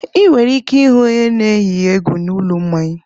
Ị nwere ike ịhụ onye na-eyi egwu na ụlọ mmanya.